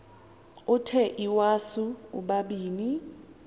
uthe iwasu ubabini